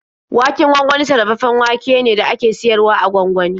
Waken gwangwani sarrafaffen wake ne da aka siyar wa a gwangwani.